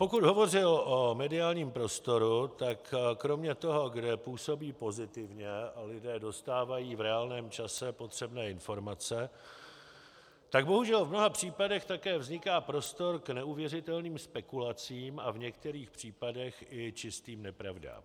Pokud hovořil o mediálním prostoru, tak kromě toho, kde působí pozitivně a lidé dostávají v reálném čase potřebné informace, tak bohužel v mnoha případech také vzniká prostor k neuvěřitelným spekulacím a v některých případech i čistým nepravdám.